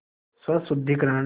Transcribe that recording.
स्वशुद्धिकरण